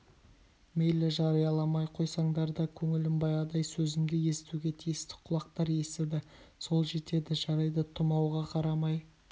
мейлі жарияламай қойсаңдар да көңілім баяғыдай сөзімді естуге тиісті құлақтар естіді сол жетеді жарайды тұмауға қарамай